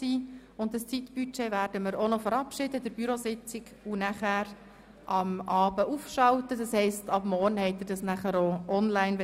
Wir werden dieses Zeitbudget an der Bürositzung verabschieden und es am Abend aufschalten, sodass es ab morgen online ist.